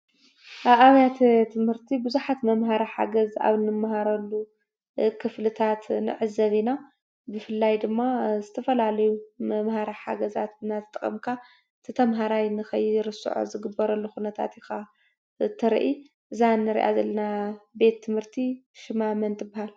ኣብ ኣብያተ ትምህርቲ ብዙሓት መምሃሪ ሓገዝ ኣብ ንመሃረሉ ክፍልታት ንዕዘብ ኢና፡፡ ብፍላይ ድማ ዝተፈላለዩ መምሃሪ ሓገዛት እናተጠቐምካ እቲ ተመሃራይ ንከይርስዖ ዝግበረሉ ኩነታት ኢኻ ትርኢ፡፡ እዛ ንሪኣ ዘለና ቤት ትምህርቲ ሽማ መን ትበሃል?